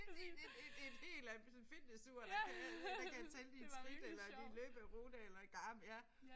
Et et et et et helt almindeligt sådan fitnessur der kan der kan tælle dine skridt eller din løberute eller Garmin ja